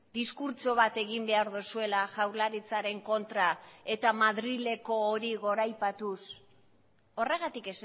diskurtso bat egin behar duzuela jaurlaritzaren kontra eta madrileko hori goraipatuz horregatik